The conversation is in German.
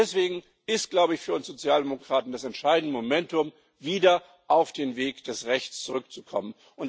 Deswegen ist für uns Sozialdemokraten das entscheidene Momentum, wieder auf den Weg des Rechts zurückzukommen.